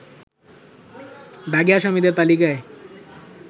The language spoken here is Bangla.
দাগী আসামিদের তালিকায়